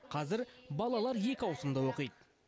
қазір балалар екі ауысымда оқид